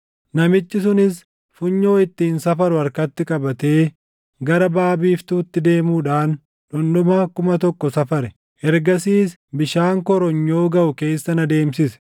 Namichi sunis funyoo ittiin safaru harkatti qabatee gara baʼa biiftuutti deemuudhaan dhundhuma kuma tokko safare; ergasiis bishaan koronyoo gaʼu keessa na deemsise.